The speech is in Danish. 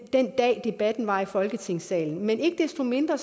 dag debatten var i folketingssalen men ikke desto mindre